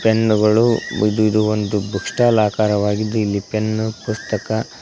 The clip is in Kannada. ಪೆನ್ನುಗಳು ಇದು ಇದು ಒಂದು ಬುಕ್ ಸ್ಟಾಲ್ ಆಕರವಾಗಿದ್ದು ಇಲ್ಲಿ ಪೆನ್ ಪುಸ್ತಕ--